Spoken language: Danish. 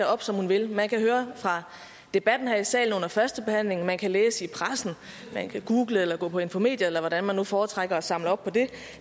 op som hun vil man kan høre debatten her i salen under førstebehandlingen man kan læse i pressen man kan google eller gå på infomedia eller hvordan man nu foretrækker at samle op på det